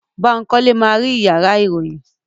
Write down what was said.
Bankole ma ri iyàrá iroyin.